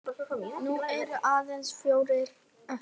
Nú eru aðeins fjórir eftir.